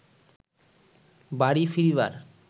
বাড়ি ফিরিবার